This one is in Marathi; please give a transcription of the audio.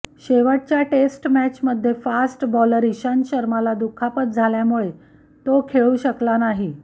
शेवटच्या टेस्ट मॅचमध्ये फास्ट बॉलर ईशांत शर्माला दुखापत झाल्यामुळे तो खेळू शकला नाही